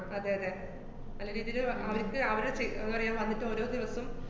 അതെയതെ, നല്ല രീതീല് അ~ അവര്ക്ക് അവര് സി~ അഹ് ന്താ പറയാ, വന്നിട്ട് ഓരോ ദീവസം